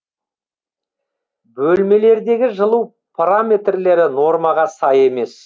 бөлмелердегі жылу параметрлері нормаға сай емес